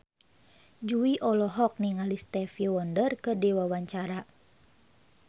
Jui olohok ningali Stevie Wonder keur diwawancara